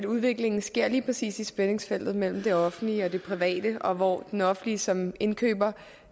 udviklingen sker lige præcis i spændingsfeltet mellem det offentlige og det private og hvor det offentlige som indkøber